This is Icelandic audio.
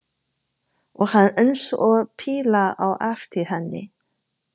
Og hann eins og píla á eftir henni.